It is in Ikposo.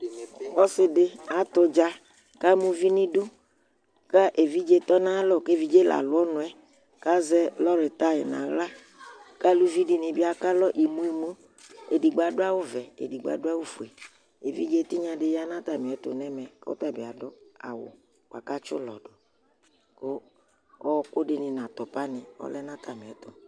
ɔsi di atʋ ʋdza kama ʋvi ni dʋ ka ɛvidzɛ tɔ na aya lɔ kʋ ɛvidzɛ la lʋ ɔnʋɛ ka zɛ lɔri tai na la ka aluvi ekalɔ imʋ imʋ edigbo adu awʋ vɛ ɛdigbo adʋ awʋ fuɛ ɛvidzɛ tinya di yanʋ atani ɛtʋ nɛmɛ kʋ ɔtabi adʋ awʋ bʋako atsi ʋlɔ dʋ ɔkʋ dini nʋ atʋpa ni ɔlɛnʋ ataniɛtʋ